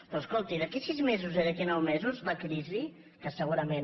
però es·colti d’aquí a sis mesos i d’aquí a nou mesos la crisi que segurament